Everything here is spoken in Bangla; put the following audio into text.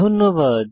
ধন্যবাদ